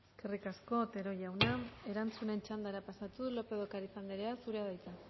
eskerrik asko otero jauna erantzunen txandara pasatuz lópez de ocariz anderea zurea da hitza